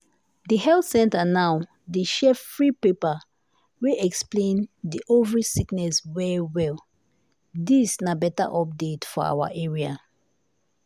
the health center now dey share free paper wey explain the ovary sickness well well dis na beta update for awa area.